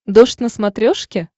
дождь на смотрешке